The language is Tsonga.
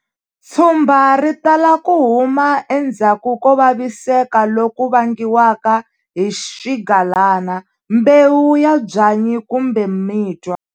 Tshumba ri tala ku huma endzhaku ko vasiseka loku vangiwaka hi swigalana, mbewu ya byanyi kumbe mitwa.